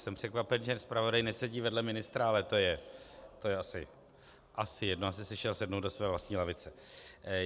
Jsem překvapen, že zpravodaj nesedí vedle ministra, ale to je asi jedno, asi si šel sednout do své vlastní lavice.